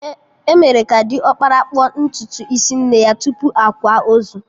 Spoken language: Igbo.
Emere ka diọkpara kpụọ ntutu isi nne ya tupu akwa ozu